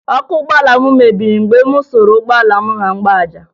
Ọkụ ụgbọala m mebiri mgbe m suru ụgbọala m na mgbaaja